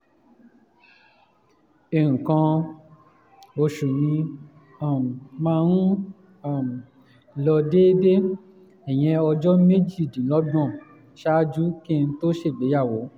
nǹkan oṣù mi um máa ń um lọ déédéé ìyẹn ọjọ́ méjìdínlọ́gbọ̀n ṣáájú kí n tó ṣègbéyàwó